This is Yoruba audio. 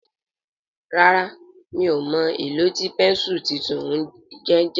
ràrá mi'o mo èló tí Bẹ́ńsù títún yen jé